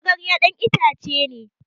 magarya dan ita ce ne